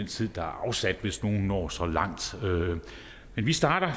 tid der er afsat hvis nogle når så langt men vi starter